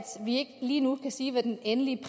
vi ikke lige nu kan sige hvad den endelige